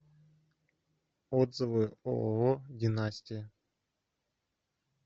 отзывы ооо династия